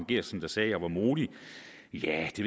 geertsen der sagde at jeg var modig jah det